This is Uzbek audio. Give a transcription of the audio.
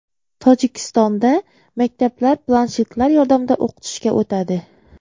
Tojikistonda maktablar planshetlar yordamida o‘qitishga o‘tadi.